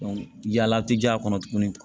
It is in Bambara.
yala ti ja kɔnɔ tuguni